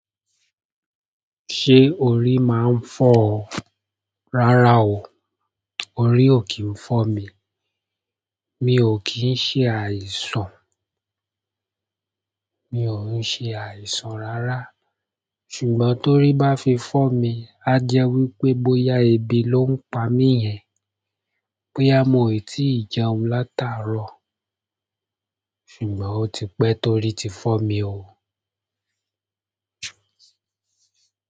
Ṣé orí máa ń fọ́ ọ? Rárá o. Orí ò kí ń fọ́ mi. Mi ò kín ṣe àìsàn, mi ò ń ṣe àìsàn rárá. Ṣùgbọ́n torí bá fi fọ́ mi, á jẹ́ wípé bóyá ebi ló ń pa mí yẹn, bóyá mo è tí ì jẹun látàárọ̀. Ṣùgbọ́n ó ti pẹ́ torí ti fọ́ mi o.